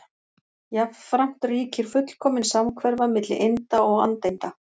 Jafnframt ríkir fullkomin samhverfa milli einda og andeinda.